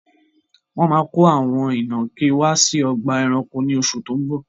Wọn máa ko àwọn ìnàkí wá sí ọgbà ẹranko ni oṣù tó ń bọ̀.